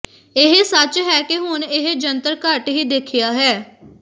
ਇਹ ਸੱਚ ਹੈ ਕਿ ਹੁਣ ਇਹ ਜੰਤਰ ਘੱਟ ਹੀ ਦੇਖਿਆ ਹੈ